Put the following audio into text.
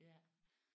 Ja